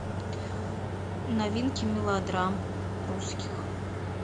новинки мелодрам русских